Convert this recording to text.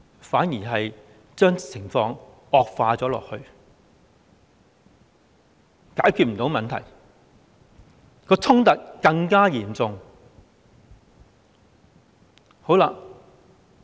反而令情況惡化，無法解決問題，衝突更加嚴重。